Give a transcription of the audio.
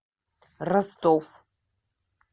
ростов